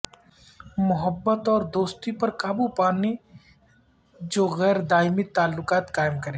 محبت اور دوستی پر قابو پانے جو غیر دائمی تعلقات قائم کرے